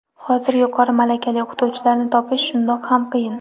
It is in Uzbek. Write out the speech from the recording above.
Hozir yuqori malakali o‘qituvchilarni topish shundoq ham qiyin.